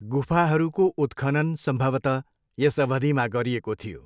गुफाहरूको उत्खनन सम्भवतः यस अवधिमा गरिएको थियो।